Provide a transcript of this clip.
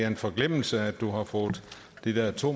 en forglemmelse at du ikke har fået de der to